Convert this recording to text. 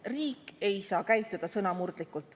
Riik ei saa käituda sõnamurdlikult.